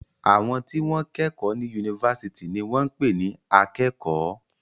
Àwọn tí wọ́n kẹ́kọ̀ọ́ ní yunifásitì ní wọ́n ń pè ní akẹ́kọ̀ọ́.